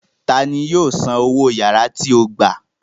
Ta ni yóò san owó yàrá tí ó gbà